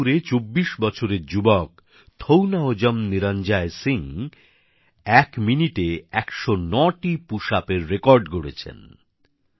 মণিপুরে ২৪ বছরের যুবক থোউনাওজম নিরঞ্জায় সিং ১ মিনিটে ১০৯টি পুশআপের রেকর্ড গড়েছেন